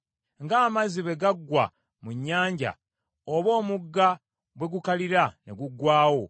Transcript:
Ng’amazzi bwe gaggwa mu nnyanja oba omugga bwe gukalira ne guggwaawo,